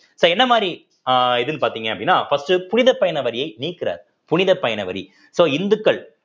so என்ன மாதிரி அஹ் இதுன்னு பார்த்தீங்க அப்படின்னா first புனிதப்பயண வரியை நீக்குறார் புனித பயண வரி so இந்துக்கள்